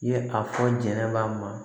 I ye a fɔ jɛnɛba ma